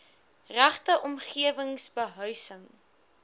regte omgewing behuising